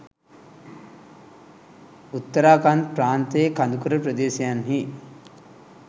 උත්තරාකන්ද් ප්‍රාන්තයේ කඳුකර ප්‍රදේශයන්හි